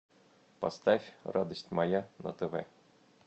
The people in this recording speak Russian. поставь радость моя на тв